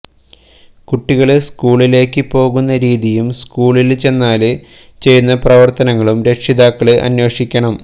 കുട്ടികള് സ്കൂളിലേക്ക് പോകുന്ന രീതിയും സ്കൂളില് ചെന്നാല് ചെയ്യുന്ന പ്രവര്ത്തനങ്ങളും രക്ഷിതാക്കള് അന്വേഷിക്കണം